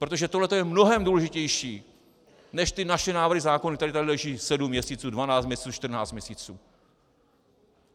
Protože tohleto je mnohem důležitější než ty naše návrhy zákonů, které tady leží sedm měsíců, dvanáct měsíců, čtrnáct měsíců.